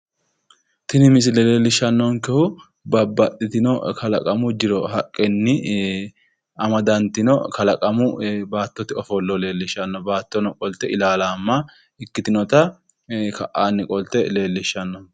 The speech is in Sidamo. Tini misile leellishshannonkehu babbaxxitino kalaqamu jiro haqqenni amadantino kalaqamu baattote ofollo leellishshanno baattono qolte ilaalaamma ikkitinota ka"aanni qolte leellishshanno.